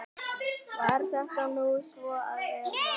Varð þetta nú svo að vera.